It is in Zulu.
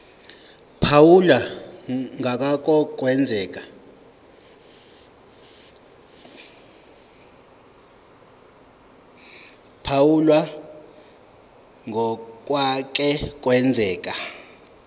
phawula ngokwake kwenzeka